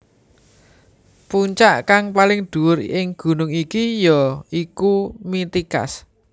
Puncak kang paling dhuwur ing gunung iki ya iku Mitikas